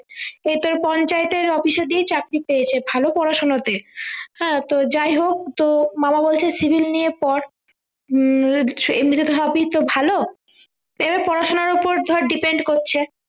এইতো এই পঞ্চায়েতের office এ দিয়েই চাকরি পেয়েছে ভালো পড়াশোনা তে হ্যাঁ তো যাই হোক তো মামা বলছে civil নিয়ে পড় উহ এমনিতেতো সবই তো ভালো এবার পড়াশোনার ওপর ধর depend করছে